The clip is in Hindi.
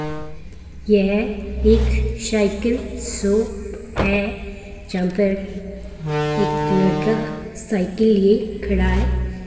यह एक साइकिल शॉप है यहां पर एक लड़का साइकिल लिए खड़ा है।